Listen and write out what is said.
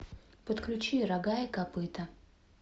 подключи рога и копыта